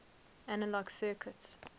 analog circuits